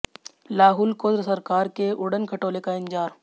लाहुल को सरकार के उड़न खटोले का इंतजार